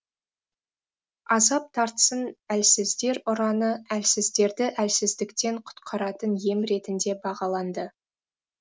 азап тартсын әлсіздер ұраны әлсіздерді әлсіздіктен құтқаратын ем ретінде бағаланды